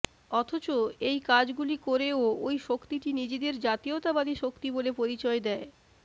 অথচ এই কাজগুলি করেও ঐ শক্তিটি নিজেদের জাতীয়তাবাদী শক্তি বলে পরিচয় দেয়